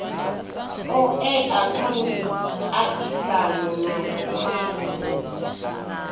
oea kha muaisano na mawe